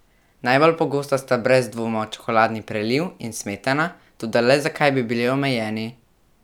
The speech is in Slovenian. Najbolj pogosta sta brez dvoma čokoladni preliv in smetana, toda le zakaj bi bili omejeni?